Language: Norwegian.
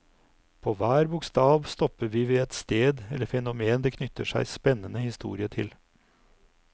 På hver bokstav stopper vi ved et sted eller fenomen det knytter seg spennende historie til.